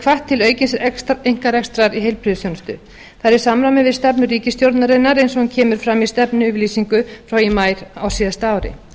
hvatt til aukins einkarekstrar í heilbrigðisþjónustu það er í samræmi við stefnu ríkisstjórnarinnar eins og hún kemur fram í stefnuyfirlýsingu frá í maí á síðasta ári